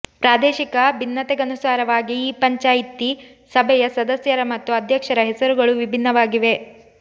ಪ್ರಾದೇಶಿಕ ಭಿನ್ನತೆಗನುಸಾರವಾಗಿ ಈ ಪಂಚಾಯಿತಿ ಸಭೆಯ ಸದಸ್ಯರ ಮತ್ತು ಅಧ್ಯಕ್ಷರ ಹೆಸರುಗಳು ವಿಭಿನ್ನವಾಗಿವೆ